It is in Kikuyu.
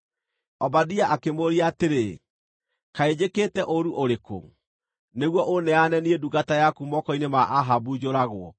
Obadia akĩmũũria atĩrĩ, “Kaĩ njĩkĩte ũũru ũrĩkũ, nĩguo ũũneane niĩ ndungata yaku moko-inĩ ma Ahabu njũragwo?